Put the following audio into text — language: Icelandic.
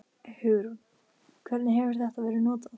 Hugrún: Hvernig hefur þetta verið notað?